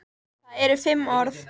Það eru fimm orð.